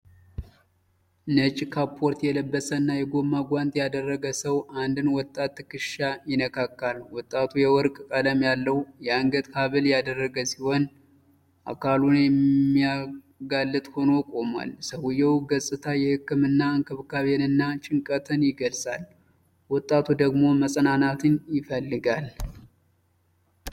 ነጭ ካፖርት የለበሰና የጎማ ጓንት ያደረገ ሰው የአንድን ወጣት ትከሻ ይነካካል። ወጣቱ የወርቅ ቀለም ያለው የአንገት ሐብል ያደረገ ሲሆን፣ አካሉን የሚያጋልጥ ሆኖ ቆሟል። የሰውየው ገፅታ የህክምና እንክብካቤንና ጭንቀትን ይገልጻል። ወጣቱ ደግሞ መጽናናትን ይፈልጋል።